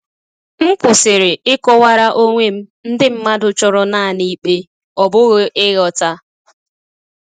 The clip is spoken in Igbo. M kwụsịrị ịkọwara onwe m ndị mmadụ chọrọ naanị ikpe, ọ bụghị ịghọta.